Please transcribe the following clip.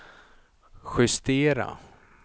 justera